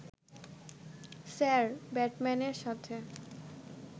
sir ব্রাডম্যানের সাথে